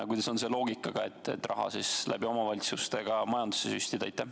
Ja kuidas on selle loogikaga, et raha läbi omavalitsuste ka majandusse süstida?